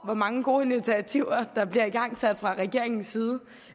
hvor mange gode initiativer der bliver igangsat fra regeringens side